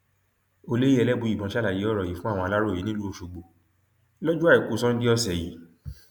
olóyè elébùíbọn ṣàlàyé ọrọ yìí fún aláròye nílùú ọṣọgbó lọjọ àìkú sannde ọsẹ yìí